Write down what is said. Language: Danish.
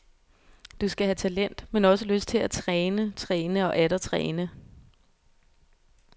Du skal have talent, men også lyst til at træne, træne og atter træne.